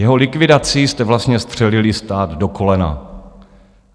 Jeho likvidací jste vlastně střelili stát do kolena.